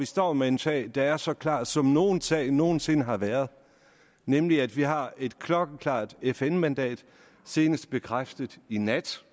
står med en sag der er så klar som nogen sag nogen sinde har været nemlig at vi har et klokkeklart fn mandat senest bekræftet i nat